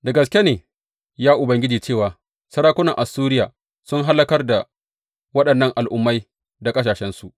Da gaske ne, ya Ubangiji, cewa sarakunan Assuriya sun hallakar da waɗannan al’ummai da ƙasashensu.